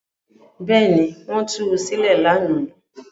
Bẹ́ẹ̀ ni, wọ́n tu sílẹ̀ lánàá.